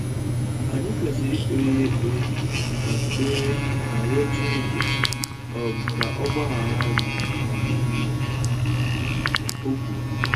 Anyị kwesiri ikpere ya ekpere, ma ekpere, ma rịọ Chineke um ka ọ gbaghara anyị um niile, o kwuru.